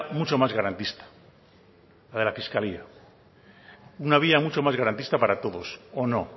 mucho más garantista la de la fiscalía una vía mucho más garantista para todos o no